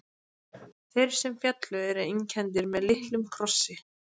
Þeir sem féllu eru einkenndir með litlum krossi.